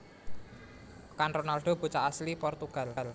Kan Ronaldo bocah asli Portugal